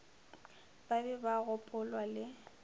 ba be ba gopolwa le